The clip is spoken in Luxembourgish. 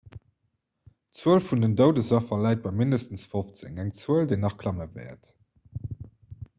d'zuel vun den doudesaffer läit bei mindestens 15 eng zuel déi nach klamme wäert